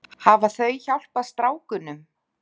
Hafa þau hjálpað strákunum?